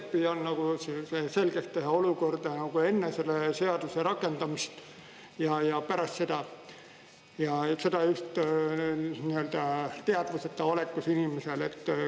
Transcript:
Ma veel kord püüan selgeks teha olukorda enne selle seaduse rakendamist ja pärast seda, seda just teadvuseta olekus inimesel.